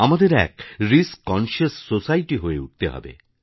আমাদের এক risk conscious society হয়ে উঠতে হবে